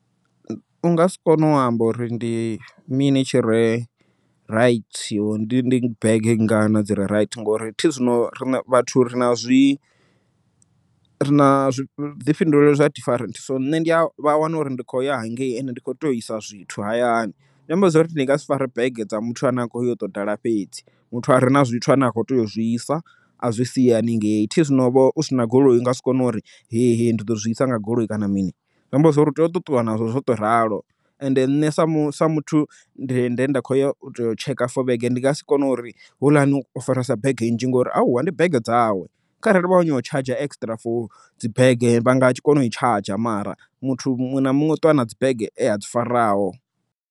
U nga si kone u amba uri ndi mini tshire raithi, ndi dzi bege ngana dzire raithi ngori thi zwino ri vhathu rina zwi rina zwi vhuḓifhinduleli zwa different so nṋe ndi a vha wana uri ndi khou ya hangei ende ndi kho tea u isa zwithu hayani. Zwi amba zwori ndi nga si fare bege dza muthu ane a kho ya u to ḓala fhedzi, muthu a re na zwithu ane akho teya u zwisa a zwi sia haningei, thi zwino vho u sina goloi unga si kone uri he he ndi ḓo zwi isa nga goloi kana mini. Zwi amba zwori u tea uṱo ṱuwa nazwo zwo ṱo ralo and nṋe sa mu sa muthu nde nda khoya u tea u tsheka for vhege ndi nga si kone uri houḽani o faresa bege nnzhi ngori hauwa ndi bege dzawe, kharali vha khou nyanga u tshanzha extra for dzi bege vha nga kona u i tshadzha mara muthu muṅwe na muṅwe u ṱuwa na dzi bege ea dzi faraho.